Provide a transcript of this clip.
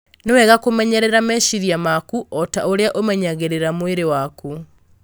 Nĩ wega kũmenyerera meciria maku o ta ũrĩa ũmenyagĩrĩra mwĩrĩ waku.